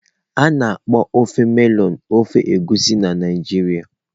A na-akpọ ofe melọnụ ofe Egusi na Naijiria.